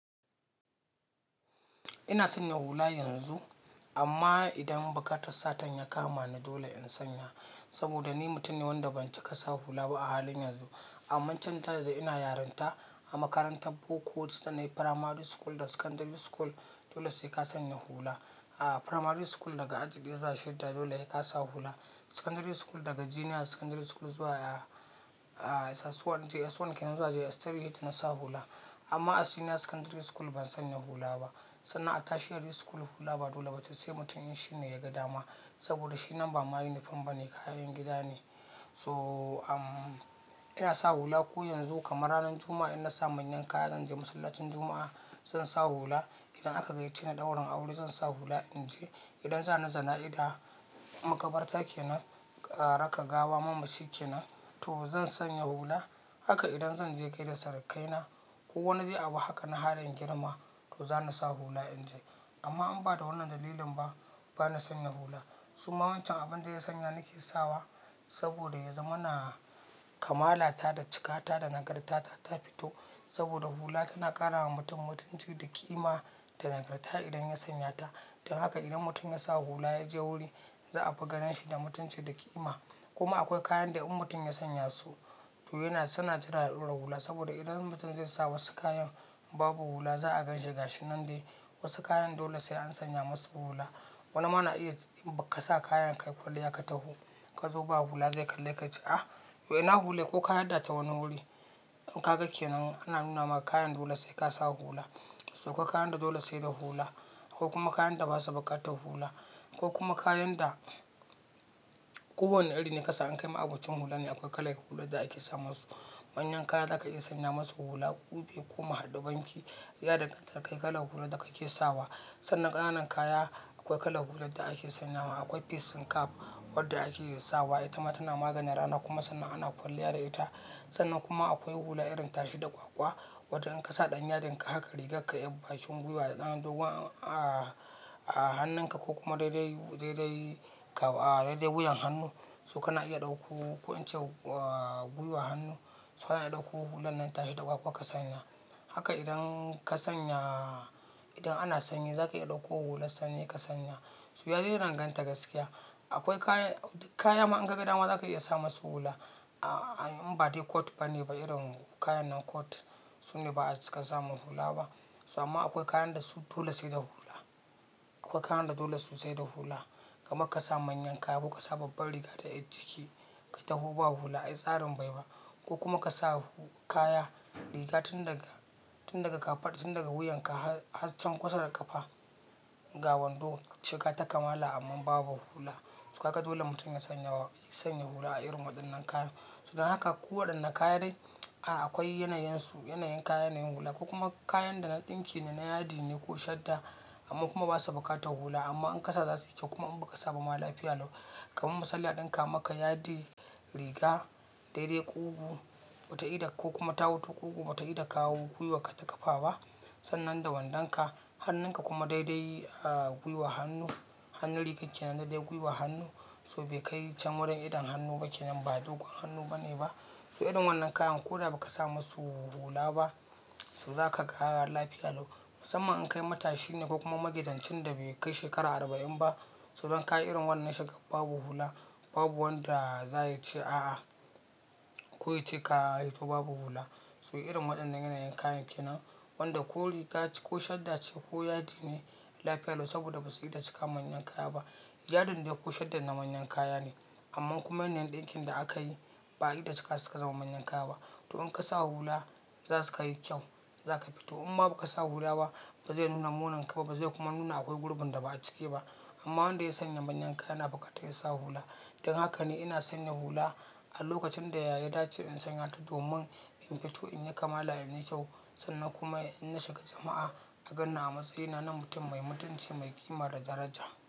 Ina sanya hula yanzu amma idan buƙatar Satan ya kama ni dole in sanya saboda ni mutum ne wanda ban ci kasa hula ba a halin yanzu. Amma can ta da ina yarinta a makarantar Boko wuce ta na yi firamari school da secondary school dole sai ka sanya hula. A firamari school daga aji ɗaya zuwa shidda dole sai ka sa hula. Secondary school daga junior secondary school zuwa a-a SS1, JS1 kenan zuwa JS3 na sa hula. Amma a senior secondary school ban sanya hula ba, sannan a tertiary school hula ba dole ba ce sai mutum in shi ne ya ga dama saboda shi nan ba ma yinifom ba ne kayan gida ne. So, a, ina sa hula ko yanzu kamar ranar Juma'a in na sa manyan kaya zan je masallacin Juma'a zan sa hula. Idan aka gayyace ni daurin aure zan sa hula in je. Idan za ni jana'iza, makabarta kenan, ƙa raka gawa mamaci kenan to zan sanya hula. Haka idan zan je gaida surukaina ko wani zai abu haka na halin girma to za ni sa hula in je. Amma in ba da wannan dalilin ba, ba na sanya hula. Su ma wancan abin da ya sanya nake sawa saboda ya zama na kamala ta da cika ta da nagarta ta fito. Saboda hula tana ƙara wa mutum mutunci da ƙima da nagarta idan ya sanya ta. Dan haka idan mutum ya sa hula ya je wuri za a fi ganin shi da mutunci da ƙima. Kuma akwai kayan da in mutum ya sanya su to yana, suna jira haɗura hula saboda idan mutum zai sa wasu kayan babu hula za a ganshi gashi nan dai. Wasu kayan dole sai an sanya masu hula. Wani ma na iya ba ka sa kayan ka kwalliya ka taho ka zo ba hula zai kalla ka ce ah to ina hula? Ko ka yarda ta wani wuri in ka ga kenan ana nuna maka kayan dole sai ka sa hula. So akwai kayan da dole sai da hula akwai kuma kayan da basa buƙatar hula ko kuma kayan da ko wane iri ne ka sa an kai ma abokin hula ne akwai kalai hular da ake sa masu. Manyan kaya za ka iya sanya masu hula, ƙube, ƙuma, haɗu banki, ya danganta da kai kalai hular da kake sawa. Sannan ƙananan kaya akwai kalar hular da ake sanya ma. Akwai facing cap wadda ake sawa ita ma tana maganin rana kuma sannan ana kwalliya da ita. Sannan kuma akwai hula irin tashi da kwakwa wadda in ka sa ɗan yadin ka haka rigar ka yi bashi gwiwa da ɗan dogon a hannun ka ko kuma daidai, daidai ka, a, daidai wuyan hannu. To kana iya ɗauko wancan, a, gwiwa hannu, suna ɗauko hulan nan tashi da kwakwa ka sanya. Haka idan ka sanya, idan ana sanyi za ka iya ɗauko hular sanyi ka sanya. So ya dai danganta gaskiya. Akwai kayan, duk kaya ma in ka ga dama za ka iya sa masu hula. A, a in ba dai coat ba ne, ba irin kayan nan coat. Su ne ba za su kar sa masu hula ba. So amma akwai kayan da su dole sai da hula. Akwai kayan da dole su sai da hula. Kamar ka sa manyan kaya ko ka sa babbar riga da yar ciki ka taho ba hula ai tsarin bai ba. Ko kuma ka sa kaya riga tun daga, tun daga ƙafa tun daga wuyan ka har can kusa da ƙafa ga wando shiga ta kamala amma babu hula. To kaga dole mutum ya sanya wa, sanya hula a irin waɗannan kayan. So dan haka ko waɗanne kayan dai, a, akwai yanayansu, yanayin kaya yanayin hula ko kuma kayan da na ɗinki ne, na yadi ne ko shadda amma kuma basa buƙatar hula amma in ka sa za su yi kyau kuma in ba ka sa ba ma lafiya lau. Kaman masalla ɗin ka maka yadi riga, daidai ƙugu bata iɗa ko kuma tawutu ƙugu bata iɗa kawo gwiwa ka ta ƙafa ba. Sannan da wandon ka, hannun ka kuma daidai, a, gwiwa hannu, hannun rigar kenan dai gwiwa hannu. So bai kai can wurin idon hannu ba kenan ba dogon hannu bane ba. So irin wannan kayan ko da ba ka sa masu hula ba su za ka ga lafiya lau. Musamman in kai matashi ne ko kuma magidancin da bai kai shekara arba'in ba. So idan ka yi irin wannan shiga babu hula babu wanda za ya ce a'a ko ya ce ka hito babu hula. So irin waɗannan yanayin kayan kenan wanda ko riga ce ko shadda ce ko yadi ne lafiya lau saboda ba su iɗa cika manyan kaya ba. Yadin dai ko shaddan na manyan kaya ne amma kuma manyan ɗinkin da aka yi ba iɗa cika suka zama manyan kaya ba. To in ka sa hula za su ka yi kyau, za ka fito. Umma ba ka sa hula ba bazai nuna munanka ba bazai kuma nuna akwai gurbun da ba a cike ba. Amma wanda ya sanya manyan kaya yana buƙatar ya sa hula. Dan haka ne ina sanya hula a lokacin da yayi daci in sanya ta domin in fito in yi kamala in yi kyau sannan kuma in na shiga jama'a a ganna a matsayina na mutum mai mutunci mai ƙima da daraja.